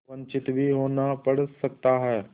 वंचित भी होना पड़ सकता है